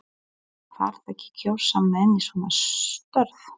Þarf ekki að kjósa menn í svona störf?